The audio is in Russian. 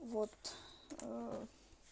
вот